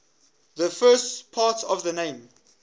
the first part of the name